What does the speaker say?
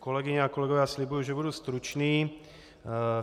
Kolegyně a kolegové, slibuji, že budu stručný.